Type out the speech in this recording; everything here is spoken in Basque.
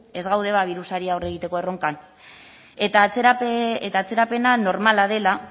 ez gaude birusari aurre egiteko erronkan eta atzerapena normala dela